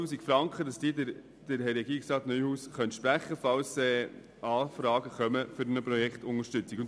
Regierungsrat Neuhaus soll die 12 000 Franken sprechen können, falls Anfragen für eine Projektunterstützung kommen.